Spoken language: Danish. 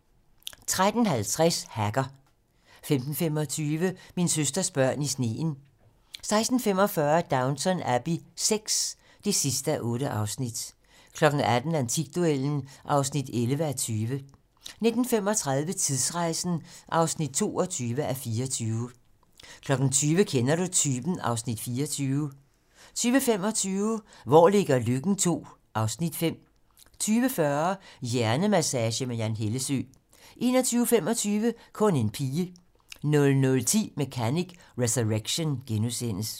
13:50: Hacker 15:25: Min søsters børn i sneen 16:45: Downton Abbey VI (8:8) 18:00: Antikduellen (11:20) 19:35: Tidsrejsen (22:24) 20:00: Kender du typen? (Afs. 24) 20:25: Hvor ligger Løkken II (Afs. 5) 20:40: Hjernemassage med Jan Hellesøe 21:25: Kun en pige 00:10: Mechanic: Resurrection *